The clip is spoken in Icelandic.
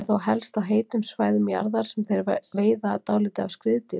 Það er þó helst á heitum svæðum jarðar sem þeir veiða dálítið af skriðdýrum.